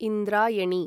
Indrayani